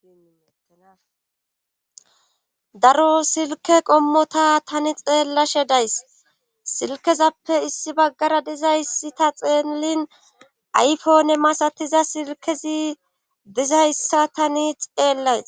daro silke qommota tani xeellashe days silkezappe issi baggara dizayssi ta xeelin aypone masatiza silkezi dizayssa tani xeellays.